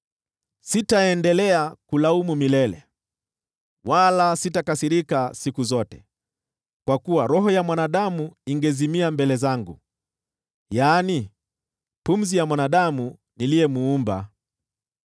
Sitaendelea kulaumu milele, wala sitakasirika siku zote, kwa kuwa roho ya mwanadamu ingezimia mbele zangu: yaani pumzi ya mwanadamu niliyemuumba.